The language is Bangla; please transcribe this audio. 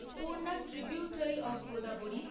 Purna tributary of Godavari